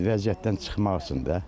Vəziyyətdən çıxmaq üçün də.